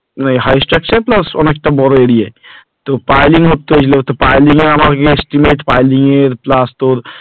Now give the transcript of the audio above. high structure plus অনেকটা বড়ো area তো piling করতে চেয়েছিলো তো piling এ আমার estimate piling এর plus তোর